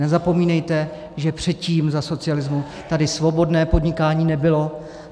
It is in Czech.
Nezapomínejte, že předtím, za socialismu, tady svobodné podnikání nebylo.